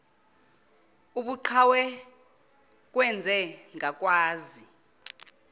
ubuqhawe kwenze ngakwazi